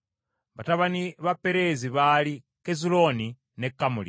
Batabani ba Perezi baali Kezulooni ne Kamuli.